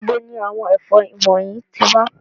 Nibo ni àwọn efon wọnyi ti wa?